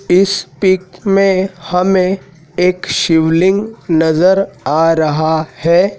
इस पिक में हमें एक शिवलिंग नजर आ रहा है।